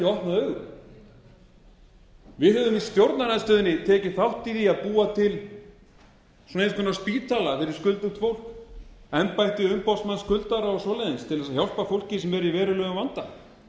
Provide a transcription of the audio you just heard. augun við höfum í stjórnarandstöðunni tekið þátt í því að búa til einhvers konar spítala fyrir skuldugt fólk embætti umboðsmanns skuldara og svoleiðis til að hjálpa fólki sem er í